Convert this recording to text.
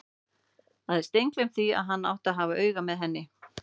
Hafði steingleymt því að hann átti að hafa auga með henni!